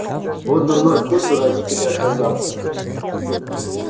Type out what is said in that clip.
вот дурной вкус у родителя оказался